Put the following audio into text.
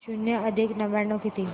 शून्य अधिक नव्याण्णव किती